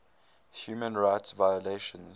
human rights violations